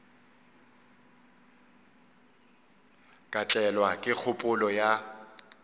ka tlelwa ke kgopolo ya